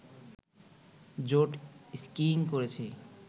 jet skiing করেছি